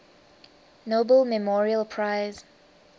nobel memorial prize